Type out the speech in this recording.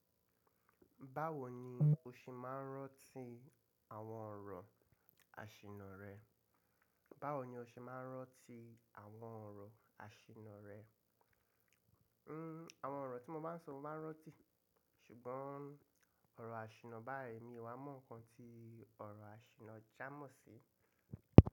Báwo ni o ṣe máa ń ranti àwọn ọ̀rọ̀ asìnà rẹ? Báwo ni o ṣe máa ń ranti àwọn ọ̀rọ̀ asìnà rẹ? Hmm àwọn ọ̀rọ̀ tí mo bá ń sọ mo máa ń ranti, ṣùgbọ́n ọ̀rọ̀ asìnà báyìí mi ò wá mọ́ nǹkan tí ọ̀rọ̀ asìnà jámọ̀ sí.